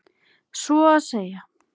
Svo að segja.